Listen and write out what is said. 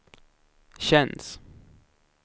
känns